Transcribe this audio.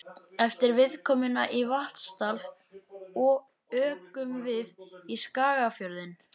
Eftir viðkomuna í Vatnsdal ökum við í Skagafjörðinn.